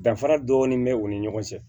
Danfara dɔɔni bɛ u ni ɲɔgɔn cɛ